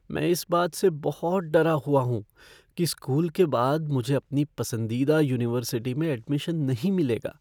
मैं इस बात से बहुत डरा हुआ हूँ कि स्कूल के बाद मुझे अपनी पसंदीदा यूनिवर्सिटी में एडमिशन नहीं मिलेगा।